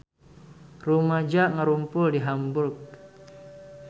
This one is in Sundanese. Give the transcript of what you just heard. Rumaja ngarumpul di Hamburg